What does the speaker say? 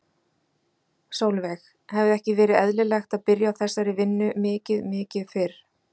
Sólveig: Hefði ekki verið eðlilegt að byrja á þessari vinnu mikið mikið fyrr?